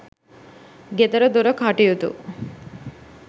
ගෙදරදොර කටයුතු